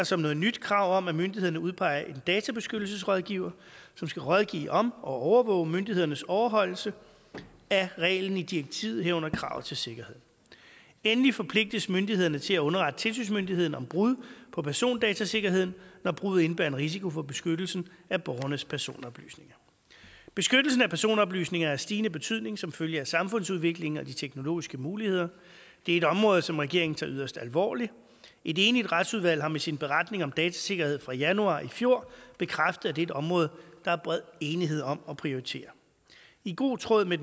som noget nyt krav om at myndighederne udpeger en databeskyttelsesrådgiver som skal rådgive om og overvåge myndighedernes overholdelse af reglen i direktivet herunder kravet til sikkerhed endelig forpligtes myndighederne til at underrette tilsynsmyndigheden om brud på persondatasikkerheden når bruddet indebærer en risiko for beskyttelsen af borgernes personoplysninger beskyttelsen af personoplysninger er af stigende betydning som følge af samfundsudviklingen og de teknologiske muligheder det er et område som regeringen tager yderst alvorligt et enigt retsudvalg har med sin beretning om datasikkerhed fra januar i fjor bekræftet at et område der er bred enighed om at prioritere i god tråd med